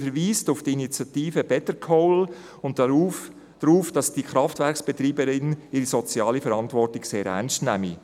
Sie verweist auf die Initiative «Bettercoal» und darauf, dass die Kraftwerksbetreiberin ihre soziale Verantwortung sehr ernst nehme.